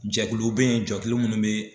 Jɛkuluw bɛ ye jɛkulu minnu bɛ